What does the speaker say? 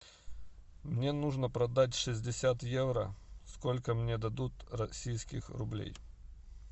мне нужно продать шестьдесят евро сколько мне дадут российских рублей